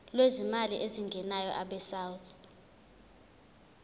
lwezimali ezingenayo abesouth